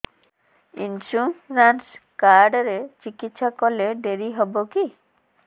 insurance card ରେ ଚିକିତ୍ସା କଲେ ଡେରି ହବକି